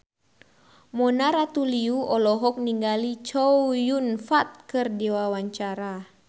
Mona Ratuliu olohok ningali Chow Yun Fat keur diwawancara